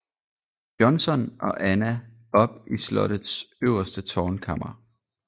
Johnson og Anna op i slottets øverste tårnkammer